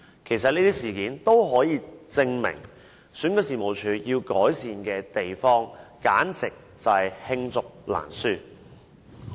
其實這些事件均可證明，選舉事務處要改善的地方，簡直是罄竹難書。